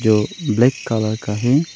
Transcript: जो black colour का है।